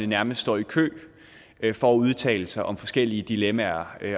nærmest står i kø for at udtale sig om forskellige dilemmaer